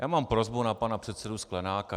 Já mám prosbu na pana předsedu Sklenáka.